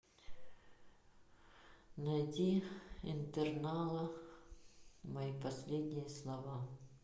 найди интернала мои последние слова